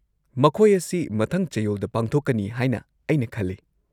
-ꯃꯈꯣꯏ ꯑꯁꯤ ꯃꯊꯪ ꯆꯌꯣꯜꯗ ꯄꯥꯡꯊꯣꯛꯀꯅꯤ ꯍꯥꯏꯅ ꯑꯩꯅ ꯈꯜꯂꯤ꯫